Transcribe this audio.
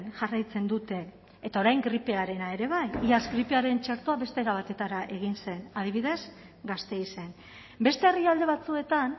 jarraitzen dute eta orain gripearena ere bai iaz gripearen txertoa beste era batera egin zen adibidez gasteizen beste herrialde batzuetan